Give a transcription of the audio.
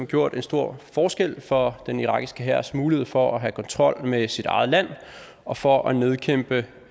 gjort en stor forskel for den irakiske hærs mulighed for at have kontrol med sit eget land og for at nedkæmpe